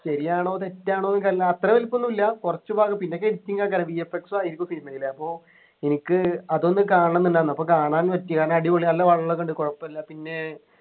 ശരിയാണോ തെറ്റാണോ എനിക്കറീല അത്ര വലിപ്പന്നും ഇല്ല കുറച്ച് ഭാഗം പിന്നെക്കെ editing ആക്കലാ VFX ഉ ആയിരിക്കും cinema യിൽ അപ്പൊ എനിക്ക് അതൊന്നു കാണണംന്നുണ്ടായിരുന്നു അപ്പൊ കാണാൻ പറ്റി കാരണം അടിപൊളി നല്ല വെള്ളൊക്കെ ഉണ്ട് കൊഴപ്പുല്ല പിന്നെ